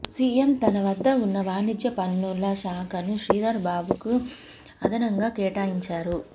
CM తన వద్ద ఉన్న వాణిజ్య పన్నుల శాఖను శ్రీధర్ బాబుకు అదనంగా కేటాయించారు